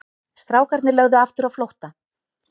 Strákarnir lögðu aftur á flótta.